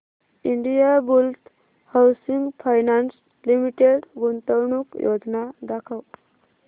Indiabulls housing finance limited गुंतवणूक योजना दाखव